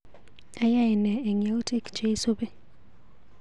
Ayai nee eng yautik cheisupi?